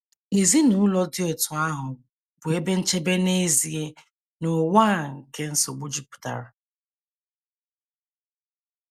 Ezinụlọ dị otú ahụ bụ ebe nchebe n’ezie n’ụwa a nke nsogbu jupụtara.